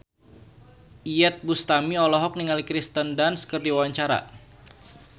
Iyeth Bustami olohok ningali Kirsten Dunst keur diwawancara